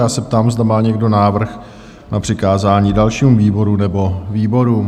Já se ptám, zda má někdo návrh na přikázání dalšímu výboru nebo výborům?